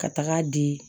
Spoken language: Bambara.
Ka taga di